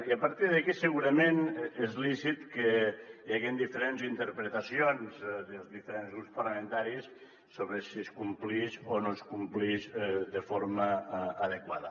i a partir d’aquí segurament és lícit que hi hagen diferents interpretacions dels diferents grups parlamentaris sobre si es complix o no es complix de forma adequada